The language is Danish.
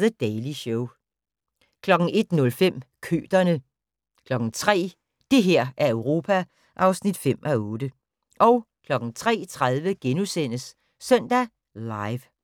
The Daily Show 01:05: Køterne 03:00: Det her er Europa (5:8) 03:30: Søndag Live *